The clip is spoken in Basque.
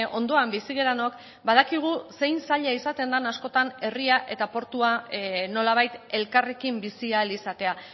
ondoan bizi garenok badakigu zein zaila izaten den askotan herria eta portua nolabait elkarrekin bizi ahal izatea